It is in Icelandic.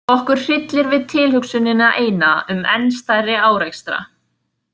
Okkur hryllir við tilhugsunina eina um enn stærri árekstra.